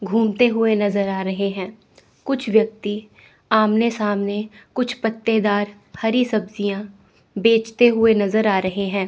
घूमते हुए नजर आ रहे हैं। कुछ व्यक्ति आमने सामने कुछ पत्तेदार हरी सब्जियां बेचते हुए नजर आ रहे हैं।